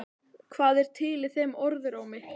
Hvað er til í þeim orðrómi?